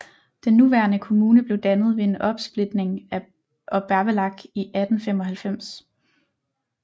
Den nuværende kommune blev dannet ved en opsplitning af Obervellach i 1895